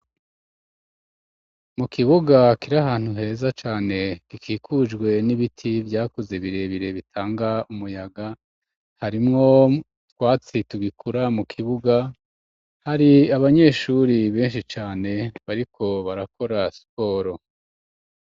Mu kibuga kiri ahantu heza cane, gikikujwe n'ibiti vyakuze birebire, bitanga umuyaga ,harimwo utwatsi tugikura, mu kibuga hari abanyeshuri benshi cane bariko barakora siporo.